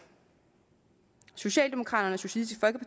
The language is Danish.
socialdemokraterne og socialistisk